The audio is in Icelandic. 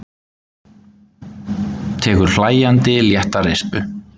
Tekur hlæjandi létta rispu.